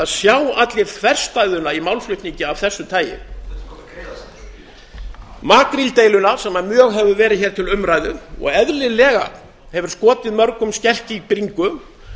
sjá allir þverstæðuna í málflutningi af þessu tagi makríldeiluna sem mjög hefur verið hér til umræðu og eðlilega hefur skotið mörgum skelk í bringu